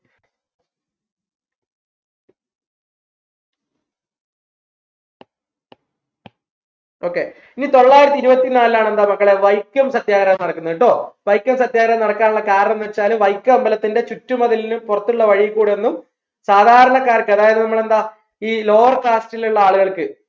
okay ഇനി തൊള്ളായിരത്തി ഇരുപ്പത്തിനാലിലാണ് എന്താ മക്കളെ വൈക്കം സത്യാഗ്രഹം നടക്കുന്നത് ട്ടോ വൈക്കം സത്യാഗ്രഹം നടക്കാനുള്ള കാരണംന്ന് വെച്ചാൽ വൈക്കം അമ്പലത്തിന്റെ ചുറ്റുമതിലിന് പുറത്തുള്ള വഴി കൂടെയൊന്നും സാധാരണക്കാർക്ക് അതായത് നമ്മളെ ഈ lower caste ഉള്ള ആളുകൾക്ക്